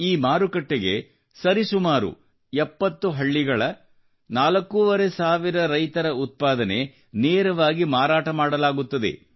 ಈ ಮಾರುಕಟ್ಟೆಗೆ ಸರಿಸುಮಾರು 70 ಹಳ್ಳಿಗಳ 4500 ರೈತರ ಉತ್ಪಾದನೆ ನೇರವಾಗಿ ಮಾರಾಟ ಮಾಡಲಾಗುತ್ತದೆ